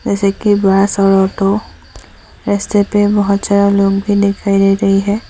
जैसे कि बस और ऑटो रस्ते पे बहोत जादा लोग भी दिखाई दे रही है।